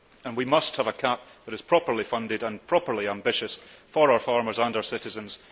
We must have a CAP that is properly funded and properly ambitious for our farmers and our citizens.